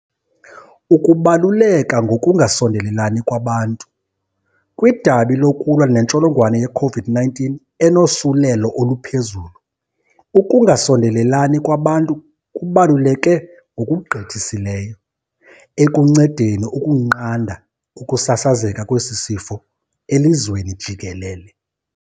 Ukubaluleka ngokungasondelelani kwabantu. Kwidabi lokulwa nentsholongwane ye-COVID-19 enosulelo oluphezulu, ukungasondelelani kwabantu kubaluleke ngokugqithisileyo ekuncedeni ukunqanda ukusasazeka kwesi sifo elizweni jikelele.